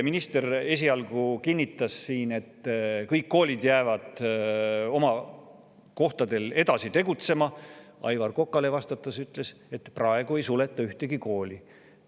Minister esialgu kinnitas siin, et kõik koolid jäävad oma kohtadel edasi tegutsema, aga Aivar Kokale vastates ütles, et praegu ei suleta ühtegi kooli.